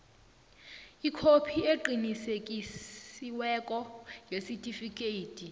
ikhophi eqinisekisiweko yesitifikhethi